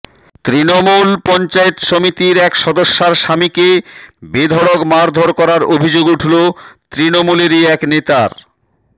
তৃণমূল পঞ্চায়েত সমিতির এক সদস্যার স্বামীকে বেধড়ক মারধর করার অভিযোগ উঠল তৃণমূলেরই এক নেতার